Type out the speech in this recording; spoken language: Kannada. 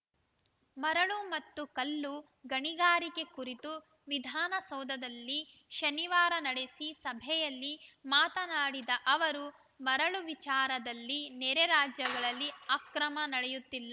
ಮರಳು ಮತ್ತು ಕಲ್ಲು ಗಣಿಗಾರಿಕೆ ಕುರಿತು ವಿಧಾನಸೌಧದಲ್ಲಿ ಶನಿವಾರ ನಡೆಸಿ ಸಭೆಯಲ್ಲಿ ಮಾತನಾಡಿದ ಅವರು ಮರಳು ವಿಚಾರದಲ್ಲಿ ನೆರೆ ರಾಜ್ಯಗಳಲ್ಲಿ ಅಕ್ರಮ ನಡೆಯುತ್ತಿಲ್ಲ